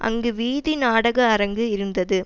அங்கு வீதி நாடக அரங்கு இருந்தது